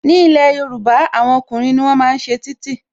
Ní ilé Yorùbá, àwọn ọkùnrin ni wọ́n máa ń ṣe títì